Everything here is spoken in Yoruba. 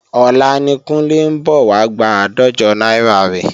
Ọ̀la ni Kúnlé ń bọ̀ wá gba àádọ́jọ náírà rẹ̀